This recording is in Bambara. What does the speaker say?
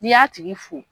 N'i y'a tigi fo